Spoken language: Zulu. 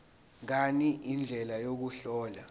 ngani indlela yokuhlola